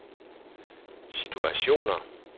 situationer